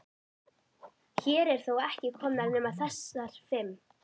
Hér eru þó ekki komnar nema þessar fimm.